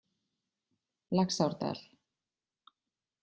Laxárdal